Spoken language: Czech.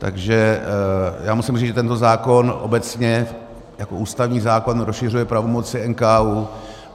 Takže já musím říct, že tento zákon obecně jako ústavní zákon rozšiřuje pravomoci NKÚ.